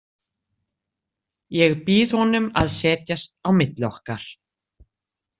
Ég býð honum að setjast á milli okkar.